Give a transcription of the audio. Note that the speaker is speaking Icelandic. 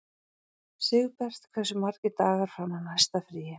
Sigbert, hversu margir dagar fram að næsta fríi?